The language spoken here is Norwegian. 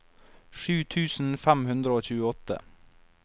sju tusen fem hundre og tjueåtte